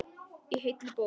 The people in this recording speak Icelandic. Í heilli bók.